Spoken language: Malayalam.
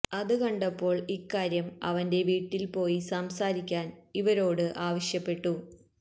അത് കണ്ടപ്പോൾ ഇക്കാര്യം അവന്റെ വീട്ടിൽ പോയി സംസാരിക്കാൻ ഇവരോട് ആവശ്യപ്പെട്ടു